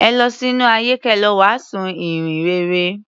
Ẹ lọ sínú ayé kẹ lọ wàásù ìhìn rere.